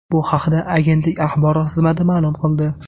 Bu haqda agentlik axborot xizmati ma’lum qildi .